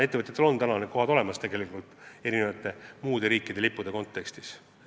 Ettevõtjatel on praegu soovitud võimalused olemas, kui nende laevad sõidavad muude riikide lippude all.